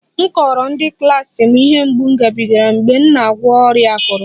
Mụ kọrọ ụmụ klas m ihe mgbu m gabigara mgbe m na-agwọ ọrịa akụrụ